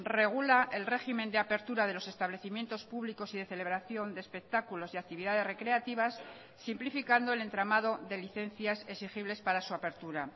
regula el régimen de apertura de los establecimientos públicos y de celebración de espectáculos y actividades recreativas simplificando el entramado de licencias exigibles para su apertura